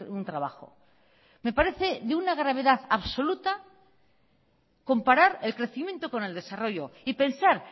un trabajo me parece de una gravedad absoluta comparar el crecimiento con el desarrollo y pensar